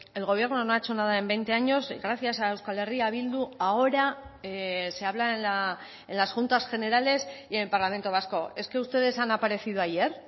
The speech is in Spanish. el gobierno no ha hecho nada en veinte años y gracias a euskal herria bildu ahora se habla en las juntas generales y en el parlamento vasco es que ustedes han aparecido ayer